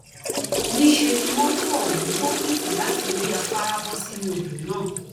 níṣẹ ni mọtò ọhún gbókìtì láti orí afárá bọ sínú odò náà